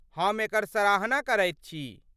हम एकर सराहना करैत छी।